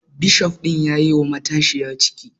Bishof ɗin yayi wa matashiyar ciki